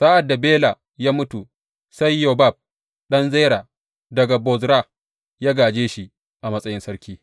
Sa’ad da Bela ya mutu sai Yobab ɗan Zera daga Bozra ya gāje shi a matsayin sarki.